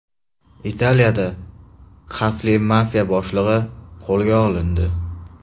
Italiyada xavfli mafiya boshlig‘i qo‘lga olindi.